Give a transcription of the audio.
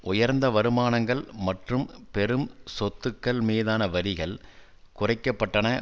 உயர்ந்த வருமானங்கள் மற்றும் பெரும் சொத்துக்கள் மீதான வரிகள் குறைக்க பட்டன